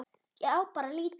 Ég á bara lítið.